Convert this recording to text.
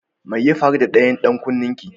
Mai ya faru da ɗayan dan kunnen ki?